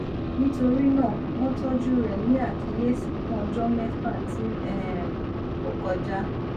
nitorinaa wọn tọju rẹ ni akiyesi fun ọjọ mẹfa ti um o kọja